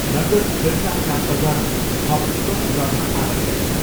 नगद फिर्ता प्राप्त गर्न थप कति गर्न आवश्यक छ?